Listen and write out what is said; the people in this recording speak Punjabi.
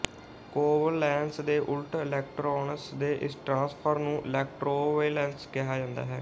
ਕੋਵੈਲੇਂਸ ਦੇ ਉਲਟ ਇਲੈਕਟ੍ਰੋਨਸ ਦੇ ਇਸ ਟ੍ਰਾਂਸਫਰ ਨੂੰ ਇਲੈਕਟ੍ਰੋਵਲੈਂਸ ਕਿਹਾ ਜਾਂਦਾ ਹੈ